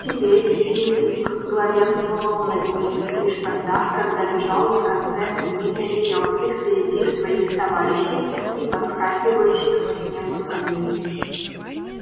теперь лип лип главенствовал над ней лишь тогда когда бежал на конце длинной верёвки впереди своих товарищей и подскакивающих по снегу саней